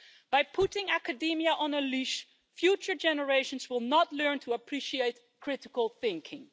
It has put academia on a leash, and future generations will not learn to appreciate critical thinking.